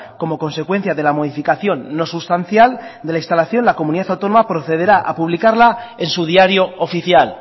como consecuencia de la modificación no sustancial de la instalación la comunidad autónoma procederá a publicarla en su diario oficial